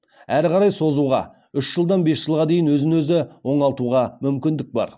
әрі қарай созуға үш жылдан бес жылға дейін өзін өзі оңалтуға мүмкіндік бар